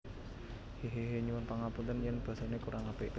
Hehehe Nyuwun pangapunten yen basa ne kurang apik